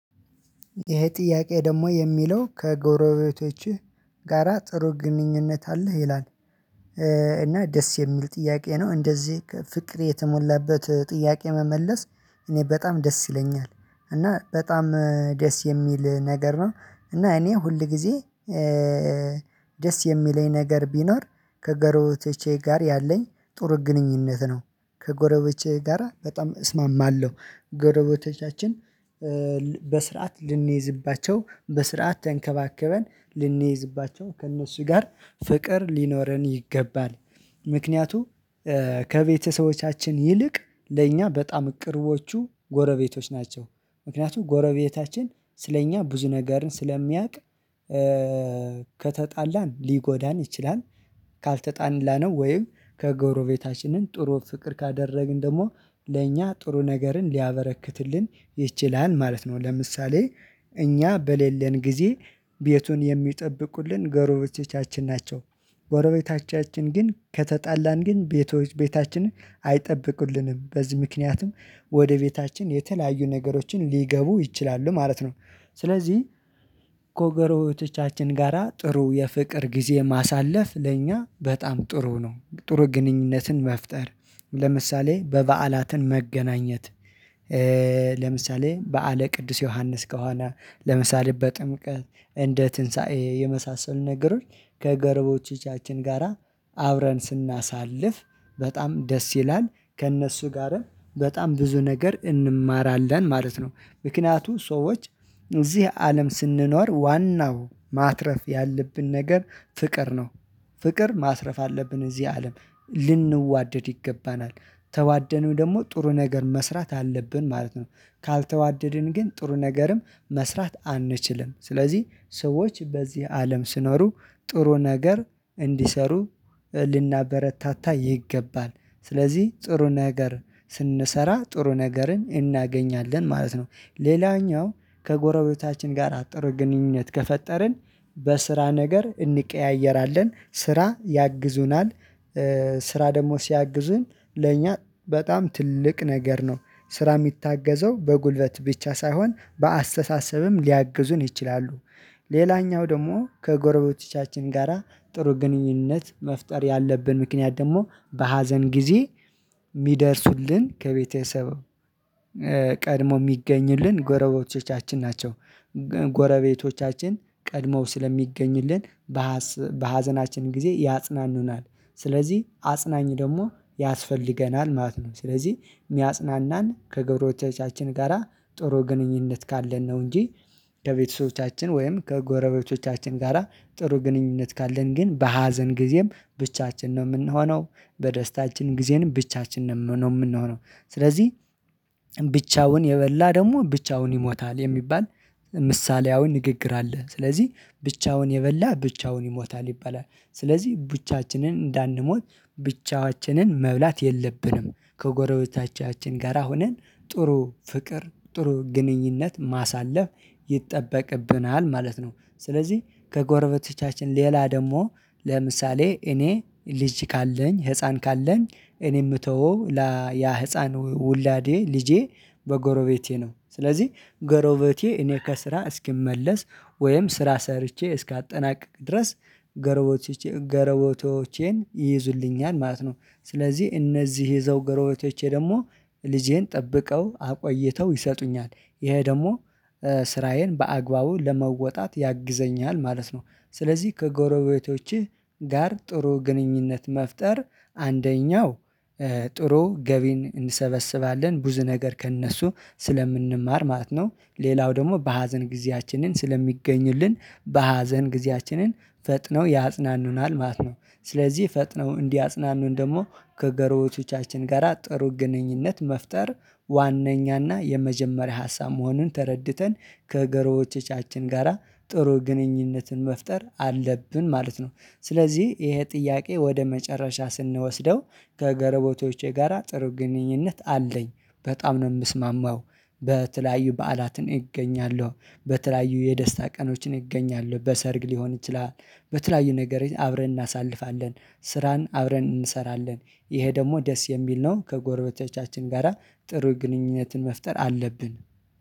ይሄ ጥያቄ ደግሞ የሚለው ከጎረቤቶችህ ጋራ ጥሩ ግንኙነት አለህ ይላል? እና ደስ የሚሉ ጥያቄ ነው። እንደዚህ ፍቅር የተሞላበት ጥያቄ መመለስ እኔ በጣም ደስ ይለኛል እና በጣም ደስ የሚል ነገር ነው። እና እኔ ሁል ጊዜ ደስ የሚለኝ ነገር ቢኖር ከጎረቤችህ ጋር ያለኝ ጥሩ ግንኙነት ነው። ከጎረቤቶቼ ጋራ በጣም እስማማለሁ ጎረቤቶቻችን በስርዓት ልንይዝባቸው በስርዓት ተንከባከበን ልንይዝባቸው ከእነሱ ጋር ፍቅር ሊኖረን ይገባል። ምክንያቱም ከቤተሰቦቻችን ይልቅ ለእኛ በጣም ቅርቦቹ ጎረቤቶች ናቸው። ምክንያቱም ጎረቤታችን ስለእኛ ብዙ ነገርን ስለሚያውቅ። ከተጣላን ሊጎዳን ይችላል። ካልተጣላነው ወይም ከጎረቤታችንን ጥሩ ፍቅር ካደረግን ደግሞ ለእኛ ጥሩ ነገርን ሊያበረክትልን ይችላል ማለት ነው። ለምሳሌ እኛ በሌለን ጊዜ ቤቱን የሚጠብቁልን ጎሮቤቶቻችን ናቸው። ጎሮቤቶቻችን ግን ከተጣላን ግን ቤቶች ቤታችንን አይጠብቁልንም በዚህ ምክንያቱም ወደ ቤታችን የተለያዩ ነገሮችን ሊገቡ ይችላሉ ማለት ነው። ስለዚህ ከጎሮቤቶቻችን ጋራ ጥሩ የፍቅር ጊዜ ማሳለፍ ለእኛ በጣም ጥሩ ነው። ጥሩ ግንኙነትን መፍጠር ለምሳሌ በበዓላትን መገናኘት። ለምሳሌ በዓለ ቅዱስ ዮሐንስ ከሆነ ለምሳሌ በጥምቀት እንደ ትንሳኤ የመሳሰሉ ነገሮች ጎሮቤቶቻችን ጋራ አብረን ስናሳልፍ በጣም ደስ ይላል። ከእነሱ ጋርም በጣም ብዙ ነገር እንማራለን ማለት ነው። ምክንያቱም ሰዎች እዚህ አለም ስንኖር ዋናው ማትረፍ ያለብን ነገር ፍቅር ነው። ፍቅር ማትረፍ አለብን እዚህ አለም ልንዋደድ ይገባናል። ተዋደንም ደግሞ ጥሩ ነገር መስራት አለብን ማለት ነው። ካልተዋደድን ግን ጥሩ ነገርም መስራት አንችልም። ስለዚህ ሰዎች በዚህ አለም ሲኖሩ ጥሩ ነገር እንዲሰሩ ልናበረታታ ይገባል ስለዚህ ጥሩ ነገር ስንሰራ ጥሩ ነገርን እናገኛለን ማለት ነው። ሌላኛው ከጎረቤታችን ጋር አጥሩ ግንኙነት ከፈጠርን በስራ ነገር እንቀያየራለን ስራ ያግዙናል። ስራ ደግሞ ሲያግዙን ለኛ በጣም ትልቅ ነገር ነው። ስራ የሚታገዘው በጉልበት ብቻ ሳይሆን በአስተሳሰብም ሊያግዙን ይችላሉ። ሌላኛው ደግሞ ከጎረቤቶቻችን ጋራ ጥሩ ግንኙነት መፍጠር ያለብን ምክንያት ደግሞ በሀዘን ጊዜ የሚደርሱልን ከቤተሰብ ቀድሞ የሚገኝልን ጎረቤቶቻችን ናቸው። ጎረቤቶቻችን ቀድሞ ስለሚገኙልን በሀዘናችን ጊዜ ያጽናኑናል። ስለዚህ አጽናኝ ደግሞ ያስፈልገናል ማለት ነው። ስለዚህ የሚያጽናናን ከጎሮቤቶቻችን ጋራ ጥሩ ግንኙነት ካለን ነው። እንጂ ከቤተሰቦቻችን ወይም ከጎረቤቶቻችን ጋራ ጥሩ ግንኙነት ካለን ግን በሀዘን ጊዜም ብቻችን ነው የምንሆነው። በደስታችን ጊዜንም ብቻችን ነው የምንሆነው። ስለዚህ ብቻውን የበላ ደግሞ ብቻውን ይሞታል የሚባል ምሳሌያዊ ንግግር አለ። ስለዚህ ብቻውን የበላ ብቻውን ይሞታል ይባላል። ስለዚህ ብቻችንን እንዳንሞት ብቻችንን መብላት የለብንም። ከጎረቤታችን ጋራ ሆነን ጥሩ ፍቅር ጥሩ ግንኙነት ማሳለፍ ይጠበቅብናል ማለት ነው። ስለዚህ ከጎረቤቶቻችን ሌላ ደግሞ ለምሳሌ እኔ ልጅ ካለኝ ህፃን ካለኝ እኔ የምተወው ያ ህፃን ውላዴ ልጄ በጎረቤቴ ነው ስለዚህ ጎረቤቴ እኔ ከስራ እስክመለስ ወይም ስራ ሰርቼ እስካጠናቅቅ ድረስ ጎረቤቶቼ ይይዙልኛል ማለት ነው። ስለዚህ እነዚህ ይዘው ጎረቤቶቼ ደግሞ ልጄን ጠብቀው አቆይተው ይሰጡኛል። ይሄ ደግሞ ስራዬን በአግባቡ ለመወጣት ያግዘኛል ማለት ነው። ስለዚህ ከጎረቤቶችህ ጋር ጥሩ ግንኙነት መፍጠር አንደኛው ጥሩ ገቢን እንሰበስባለን ብዙ ነገር ከእነሱ ስለምንማር ማለት ነው። ሌላው ደግሞ በሀዘን ጊዜያችንን ስለሚገኙልን በሀዘን ጊዜያችንን ፈጥነው ያጽናኑናል ማለት ነው። ስለዚህ ፈጥነው እንዲያጽናኑን ደግሞ ከጎረቤቶቻችን ጋራ ጥሩ ግንኙነት መፍጠር ዋነኛና የመጀመሪያ ሀሳብ መሆኑን ተረድተን ክጎረቤቶቻችን ጋራ ጥሩ ግንኙነትን መፍጠር አለብን ማለት ነው። ስለዚህ ይሄ ጥያቄ ወደ መጨረሻ ስንወስደው ከጎረቤቶቼ ጋራ ጥሩ ግንኙነት አለኝ በጣም ነው የምስማማው። በተለያዩ በዓላትን እገኛለሁ በተለያዩ የደስታ ቀኖችን እገኛለሁ በሰርግ ሊሆን ይችላል። በተለያዩ ነገር አብረን እናሳልፋለን ስራን አብረን እንሰራለን። ይሄ ደግሞ ደስ የሚል ነው ከጎረቤቶቻችን ጋራ ጥሩ ግንኙነትን መፍጠር አለብን